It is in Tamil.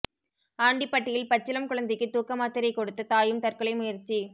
ஆண்டிபட்டியில் பச்சிளம் குழந்தைக்கு தூக்க மாத்திரை கொடுத்து தாயும் தற்கொலை முயற்சி